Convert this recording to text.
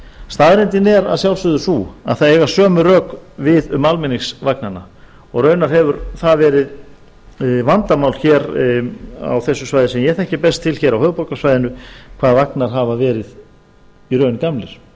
staðreyndin er að sjálfsögðu sú að það eiga sömu rök við um almenningsvagnana og raunar hefur það verið vandamál hér á þessu svæði sem ég þekki best til hér á höfuðborgarsvæðinu hvað vagnar hafa verið í raun gamlir